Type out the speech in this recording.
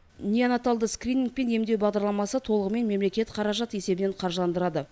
неонаталды скрининг пен емдеу бағдарламасы толығымен мемлекет қаражат есебінен қаржыландырады